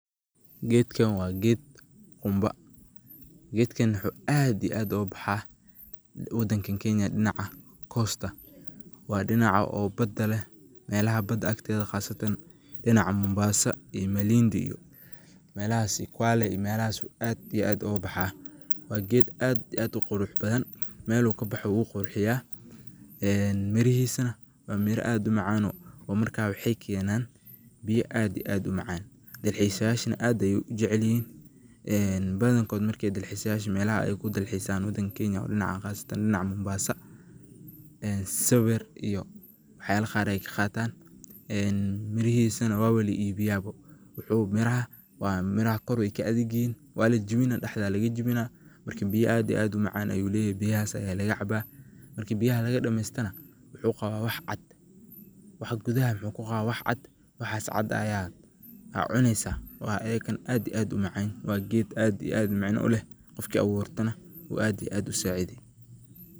Geedkan waa geed qumba. Geedkan waxuu aad iyo aad ugu baxaa wadankan Kenya dhinacan coast. Waa dhinaca oo bada leh meelaha bad agteeda khaasatan dhinaca Mombasa ii Malindi iyo ,meelahas ii Kwale ii meelahas ayuu aad iyo aad ugu baxaa. Waa geed aad ii aad u qurux badan. Meel uu ka baxo wuu qurxiya. Mirihiisana waa mira aad u macaan oo oo marka waxay keenaan biya aad ii aad u macaan. Dalxiisayaashana aad ayuu u jaclihiin. Badankooda marka dalxiisayaasha meelaha ay ku dalxiisaan wadanka Kenya oo dhinacaan khaasatan dhinaca Mombasa, sawir iyo waxyaala qaar ai ka qaataan mirihiisana waaba la iibiyaaba. Wuxuu miraha, waa miraha kor waay ka adag yihiin waa lajibina dhexdaa lagajibina. Marka, biya aad ii aad u macaan ayuu leeyahay biyahaas ayaa laga cabaa. Marka biyaha laga dhamaystana wuxuu qabaa wax cad. Wax gudaha waxuu ku qabaa wax cad. Waxaas cad ayaa aa cunaysa oo ayikana aad ii aad u macan. Waa geed aa ii aad macana u leh qofki abuurtana oo aad ii aad u saacidi.